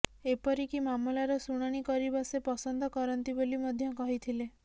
ଏପରିକି ମାମଲାର ଶୁଣାଣି କରିବା ସେ ପସନ୍ଦ କରନ୍ତି ବୋଲି ମଧ୍ୟ କହିଥିଲେ